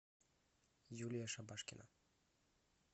юлия шабашкина